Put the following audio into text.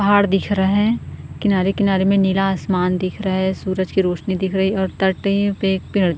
पहाड़ दिख रहा है किनारे-किनारे में नीला आसमान दिख रहा है सूरज की रोशनी दिख रही है और तटे पे --